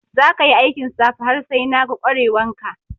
Za ka yi aikin safe har sai na ga kware wan ka!